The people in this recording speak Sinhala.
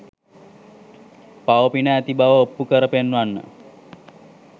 පව පින ඇති බව ඔප්පු කර පෙන්වන්න.